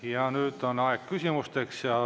Ja nüüd on aeg küsimusteks.